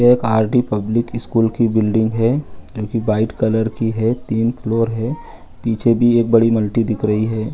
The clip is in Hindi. ये एक आर.डी. पब्लिक स्कूल की बिल्डिंग है। जो की व्हाइट कलर की है। तीन फ्लोर है। पीछे भी एक बड़ी मल्टी दिख रही है।